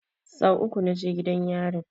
Sau uku na je gidan yarin